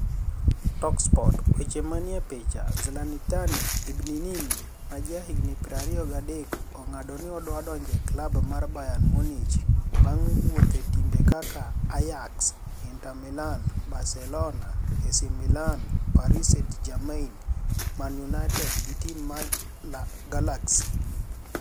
(Talksport)Weche maniie e pichanii Zlanitani ibninininini maja higa 23 oniga'do nii odwadonije klub mar Bayerni Muniich ba'nig wuothe timbe kaka AjAX, IniterMilani, Bacelonia, AC Milani, Paris St-Germaini, Mani Uniited gi tim mar LA Galaxy.